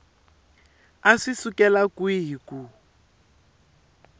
a swi sukela kwihi ku